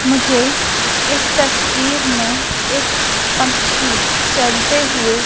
मुझे इस तस्वीर में एक पक्षी चलते हुए--